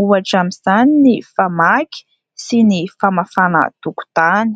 Ohatra amin'izany ny fmaky sy ny famafana tokontany.